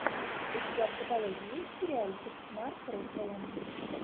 у тебя в каталоге есть сериальчик марк руффало